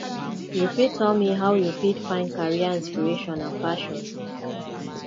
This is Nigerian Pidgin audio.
you fit tell me how you fit find career inspiration and passion